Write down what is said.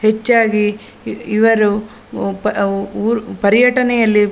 ಹೆಚ್ಚಾಗಿ ಇವ ಇವರು ಪರ್‌ ಊ ಊರು ಪರ್ಯಟನೆಯಲ್ಲಿ .